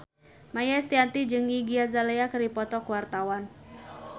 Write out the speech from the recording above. Maia Estianty jeung Iggy Azalea keur dipoto ku wartawan